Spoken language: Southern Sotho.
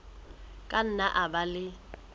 ka nna a ba le